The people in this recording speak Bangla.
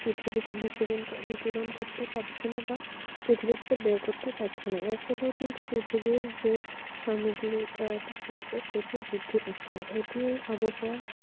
পৃথিবী বিকিরণ করতে পারছেনা বা পৃথিবী থেকে বের করতে পারছে না এর ফলে কিন্তু পৃথিবী যে সামগ্রিক তাপমাত্রা সেটা বৃদ্ধি পারছে এটি আবহাওয়া